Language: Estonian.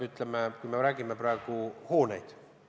Ma räägin praegu hoonetest.